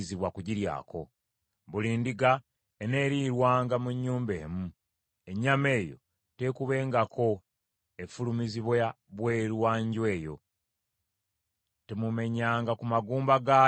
“Buli ndiga eneerirwanga mu nnyumba emu; ennyama eyo tekuubengako efulumizibwa bweru wa nju eyo. Temumenyanga ku magumba gaayo n’erimu.